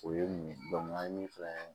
O ye mun ye an ye min f'an ye